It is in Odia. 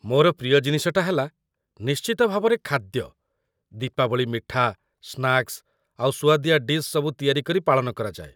ମୋର ପ୍ରିୟ ଜିନିଷଟା ହେଲା, ନିଶ୍ଚିତ ଭାବରେ, ଖାଦ୍ୟ । ଦୀପାବଳି ମିଠା, ସ୍ନାକ୍ସ୍ ଆଉ ସୁଆଦିଆ ଡିଶ୍ ସବୁ ତିଆରି କରି ପାଳନ କରାଯାଏ ।